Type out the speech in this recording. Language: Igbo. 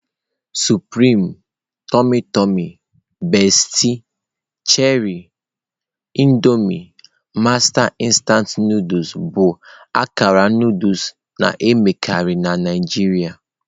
Supreme, Tummy Tumy, Bestie, Cherie, Indomie, Master instant Nụdụls bụ akara Nụdụls na-emekarị na Naijiria.